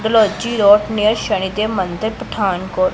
road ने शनि देव मंदिर पठानकोट--